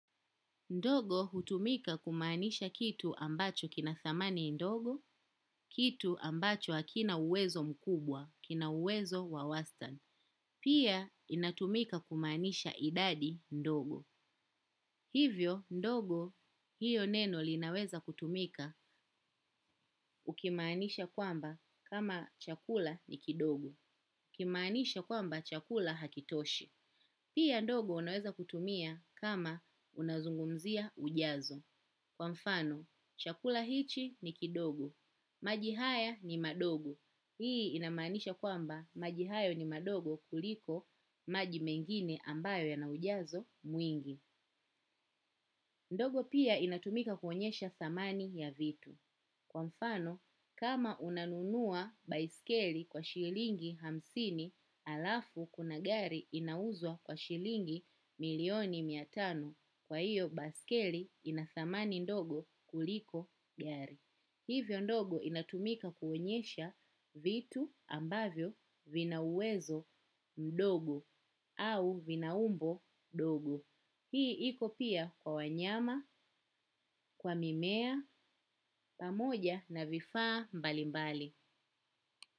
Ndogo hutumika kumaanisha kitu ambacho kina thamani ndogo, kitu ambacho hakina uwezo mkubwa, kina uwezo wa wastani. Pia inatumika kumaanisha idadi ndogo. Hivyo ndogo hiyo neno linaweza kutumika ukimaanisha kwamba kama chakula ni kidogo. Ukimaanisha kwamba chakula hakitoshi. Pia ndogo unaweza kutumia kama unazungumzia ujazo. Kwa mfano, chakula hichi ni kidogo. Maji haya ni madogo. Hii inamaanisha kwamba maji hayo ni madogo kuliko maji mengine ambayo yana ujazo mwingi. Ndogo pia inatumika kuonyesha thamani ya vitu. Kwa mfano, kama unanunua baiskeli kwa shilingi hamsini, halafu kuna gari inauzwa kwa shilingi milioni mia tano. Kwa hiyo, baiskeli ina thamani ndogo kuliko gari. Hivyo ndogo inatumika kuonyesha vitu ambavyo vina uwezo mdogo au vina umbo dogo. Hii iko pia kwa wanyama, kwa mimea, pamoja na vifaa mbali mbali.